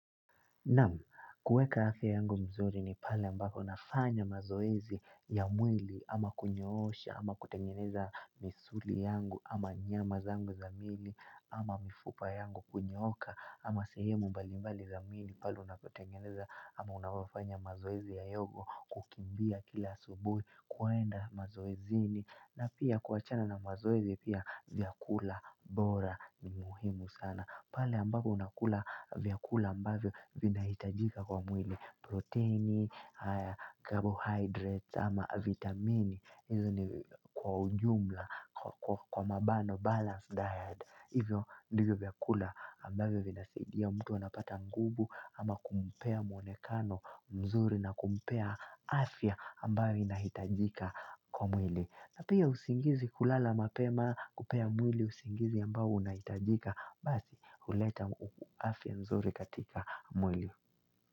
Namu, kueka afe yangu mzuri ni pale mbako nafanya mazoezi ya mwili ama kunyoosha, ama kutengeneza misuli yangu, ama nyama zangu zamili, ama mifupa yangu kunyoka, ama sehemu mbalimbali zamili palu na kutengeneza, ama unafanya mazoezi ya yogo kukimbia kila subuhi, kuwaenda mazoezini, na pia kuachana na mazoezi pia vyakula bora ni muhimu sana. Pala ambapo unakula vyakula ambavyo vinahitajika kwa mwili. Proteini, haya carbohydrates, ama vitamini. Hizo ni kwa ujumla, kwa mabano, balanced diet. Hivyo ndivyo vyakula ambavyo vinasaidia ya mtu wanapata nguvu ama kumpea mwonekano mzuri na kumpea afya ambayo inahitajika kwa mwili. Hata hia usingizi kulala mapema kupea mwili usingizi ambayo unahitajika. Basi uleta uafya mzuri katika mwili.